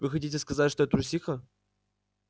вы хотите сказать что я трусиха